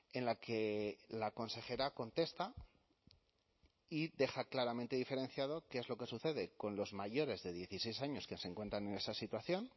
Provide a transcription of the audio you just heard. en la que la consejera contesta y deja claramente diferenciado qué es lo que sucede con los mayores de dieciséis años que se encuentran en esa situación